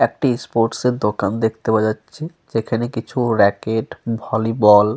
একটি স্পোর্টস -এর দোকান দেখতে পাওয়া যাচ্ছে। যেখানে কিছু রেকেট ভলি বল --